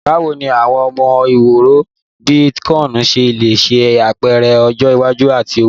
Bawo ni awọn owo iworo bii Bitcoin ṣe le ṣe apẹrẹ ọjọ iwaju ti owo?